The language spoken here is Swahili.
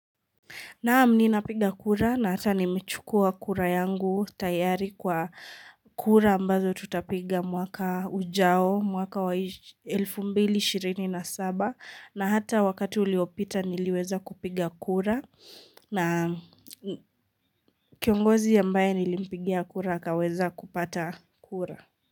Naam ninapiga kura na hata nimechukua kura yangu tayari kwa kura ambazo tutapiga mwaka ujao mwaka wa 2027 na hata wakati uliopita niliweza kupiga kura na kiongozi ambaye nilimpigia kura akaweza kupata kura.